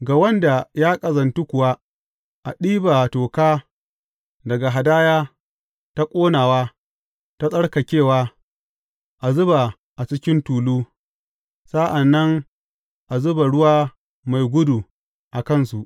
Ga wanda ya ƙazantu kuwa, a ɗiba toka daga hadaya ta ƙonawa ta tsarkakewa, a zuba a cikin tulu, sa’an nan a zuba ruwa mai gudu a kansu.